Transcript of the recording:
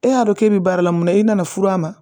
E y'a dɔn k'e bɛ baara la mun na i nana furu a ma